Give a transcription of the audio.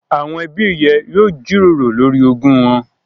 Àwọn ẹbí ẹ yóò jíròrò lórí ogún wọn